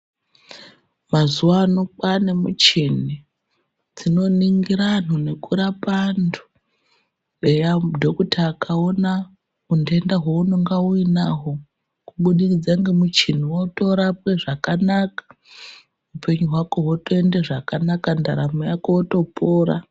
Maxuwa ano kwaane michini dzinoningira anhu nekurapa anhu eya dhokuta akaona untenda hwaunenge uinahwo kubudikidza ngemuchini wotorapwe zvakanaka upenyu hwako hwotoende zvakanaka ndaramo yako wotopora.